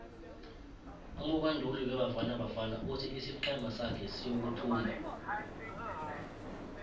umubanduli webafana bafana uthi isiqhema sake siyothumba